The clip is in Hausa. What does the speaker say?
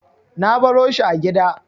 Na baro shi a gida.